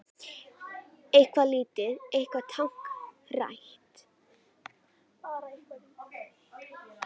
Bara eitthvað lítið, eitthvað táknrænt.